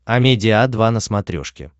амедиа два на смотрешке